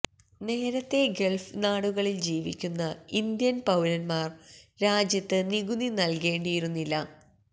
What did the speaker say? നേരത്തെ ഗള്ഫ് നാടുകളില് ജീവിക്കുന്ന ഇന്ത്യന് പൌരന്മാര് രാജ്യത്ത് നികുതി നല്കേണ്ടിയിരുന്നില്ല